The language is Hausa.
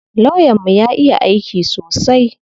Lawyan mu ya iya aiki sosai.